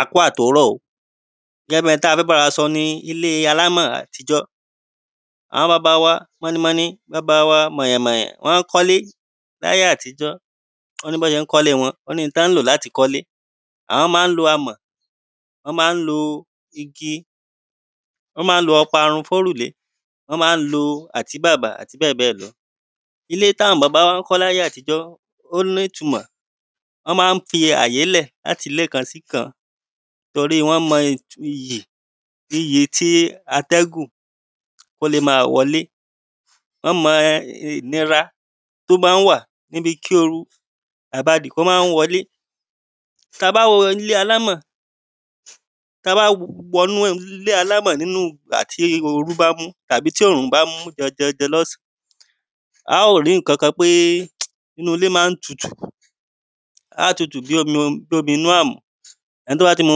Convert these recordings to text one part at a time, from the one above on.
A kú àtòrọ́ o gẹ́gẹ́ ohun tí a fẹ́ bára wa sọ ni ilé alámọ̀ àtijọ̀. Àwọn baba wa mọni mọni baba wa mọ̀yàn mọ̀yàn wọn mọ́ kọ́lé láyé àtijọ́ o ní bọ́ ṣé ń kọ́lé wọn o ní n tán ń lò láti fi kọ́lé àwọn má ń lo amọ̀ wọ́n má ń lo igi wọ́n má ń lo ọparun fórùlé wọ́n má ń lo àtíbàbà àti bẹ́ẹ̀ bẹ́ẹ̀ lọ. Ilé táwọn baba wa má ń kọ́ láyé àtijọ́ ó má ń ní ìtumọ̀ wọ́n má ń fi àyè sílẹ̀ láti ilé kan síkan torí wọ́n mọ iyì iyẹ tí atẹ́gùn ó le má wọlé wọ́n mọ ìnira tó má ń wà níbi kí oru àbadì ó má ń wọlé. Tá bá wo ilé alámọ̀ tá bá wọ inú ilé alámọ̀ nínú ìgbà tí orú bá mú tàbí tí òrùn bá mú janjan lọ́sàn á ó rí nǹkan kan pé inú ilé má ń tutù á tutù bí omi inú àmù ẹni tó bá ti mu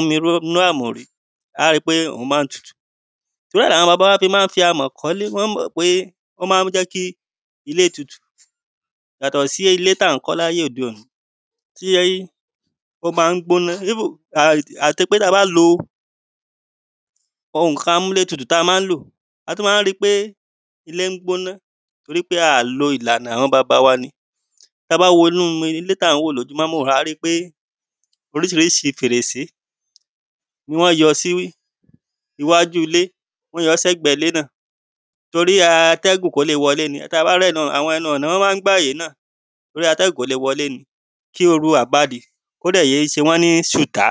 omi inú àmù rí á ó rí pé òhun má ń tutù. Torí ẹ̀ lawọn baba wa fi má ń fi amọ̀ kọ́lé wọ́n mọ̀ pé ó má ń jẹ́ kí ilé tutù yàtọ̀ sí ilé tá ń kọ́ láyé òde òní tí ó má ń gbóná tó jẹ́ pé tí a bá lo ohun nǹkan amúlé tutù tá má ń lò a tún má ń rí pé ilé ń gbóná tórí pé a lo ìlànà àwọn baba wa ni. tá bá wo ojú ilé tá ń wò lórí máwòrán yìí à rí pé oríṣiríṣi fèrèsé ni wọ́n yọ sí iwájú ilé wọ́n yọ sẹ́gbẹ̀ ilé náà torí ẹ atẹ́gùn kó le wọlé ni tá bá rí àwọn ẹnu ọ̀nà wọ́n má ń gbàyè náà torí atẹ́gùn kó le wọlé ni kí oru àpadì kó dẹ̀ yé ṣe wọ́n ní ṣùtá.